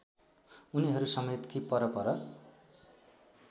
उनीहरूसमेत कि परपर